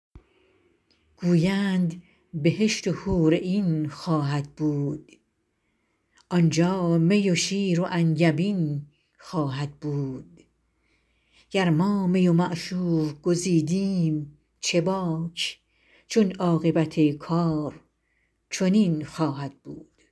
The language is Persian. گویند بهشت و حورعین خواهد بود آنجا می و شیر و انگبین خواهد بود گر ما می و معشوق گزیدیم چه باک چون عاقبت کار چنین خواهد بود